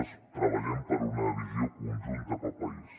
nosaltres tre·ballem per una visió conjunta per al país